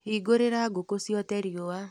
Hingũrĩra ngũkũ ciote riũa.